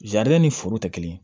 ni foro tɛ kelen ye